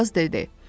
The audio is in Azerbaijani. Aşpaz dedi.